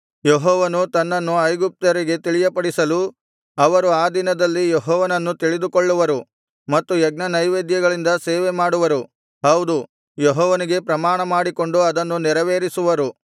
ಯೆಹೋವನು ತನ್ನನ್ನು ಐಗುಪ್ತ್ಯರಿಗೆ ತಿಳಿಯಪಡಿಸಲು ಅವರು ಆ ದಿನದಲ್ಲಿ ಯೆಹೋವನನ್ನು ತಿಳಿದುಕೊಳ್ಳುವರು ಮತ್ತು ಯಜ್ಞನೈವೇದ್ಯಗಳಿಂದ ಸೇವೆ ಮಾಡುವರು ಹೌದು ಯೆಹೋವನಿಗೆ ಪ್ರಮಾಣ ಮಾಡಿಕೊಂಡು ಅದನ್ನು ನೆರವೇರಿಸುವರು